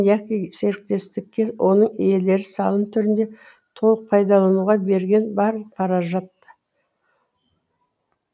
яки серіктестікке оның иелері салым түрінде толық пайдалануға берген барлық қаражат